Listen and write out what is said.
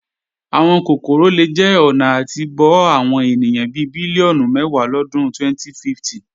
Àwọn kòkòrò lè jẹ́ ọ̀nà àti bọ́ àwọn ènìyàn bi bílíọ̀nù mẹ́wàá lọdún 2050.